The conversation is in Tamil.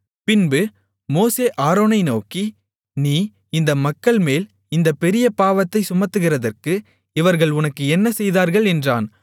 பின்பு மோசே ஆரோனை நோக்கி நீ இந்த மக்கள்மேல் இந்தப் பெரிய பாவத்தைச் சுமத்துகிறதற்கு இவர்கள் உனக்கு என்ன செய்தார்கள் என்றான்